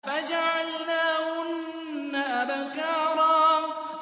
فَجَعَلْنَاهُنَّ أَبْكَارًا